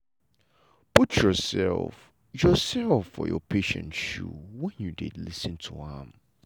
put yourself yourself for your patient shoe when you dey lis ten to am.